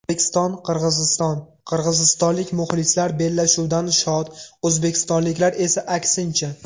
O‘zbekiston Qirg‘iziston: qirg‘izistonlik muxlislar bellashuvdan shod, o‘zbekistonliklar esa aksincha.